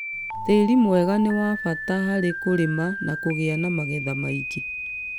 Tĩĩri mwega nĩ wa bata harĩ kũrĩma na kũgĩa na magetha maingĩ.